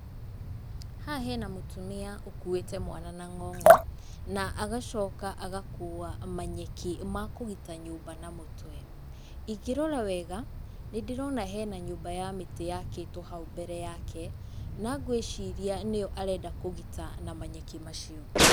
Haha hena mũtumia ũkuĩte mwana na ng'ong'o, na agacoka agakua manyeki ma kũgita nyũmba na mũtwe. Ingĩrora wega nĩndĩrona hena nyũmba ya mĩtĩ yakĩtwo hau mbere yake na ngwĩciria nĩyo arenda kũgita na manyeki macio.